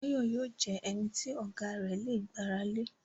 Báyọ̀ yóò jẹ ẹnití Ọ̀gá rẹ̀ lè gbàra lé